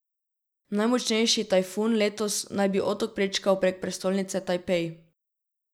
Najmočnejši tajfun letos naj bi otok prečkal prek prestolnice Tajpej.